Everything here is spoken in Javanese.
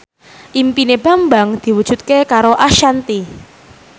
impine Bambang diwujudke karo Ashanti